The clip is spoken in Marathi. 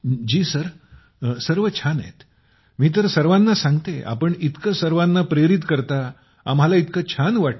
जी सर सर्व छान आहेत मी तर सर्वाना सांगते आपण इतक सर्वांना प्रेरित करता आम्हाला इतक छान वाटत